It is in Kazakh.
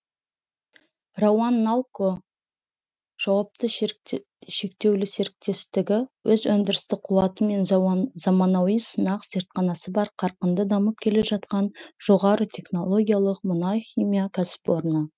рауанналко жауапты шектеулі серіктестігі өз өндірістік қуаты мен заманауи сынақ зертханасы бар қарқынды дамып келе жатқан жоғары технологиялық мұнай химия кәсіпорны